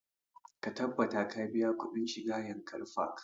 Ka tabbata ka biya kuɗin shiga yankari park!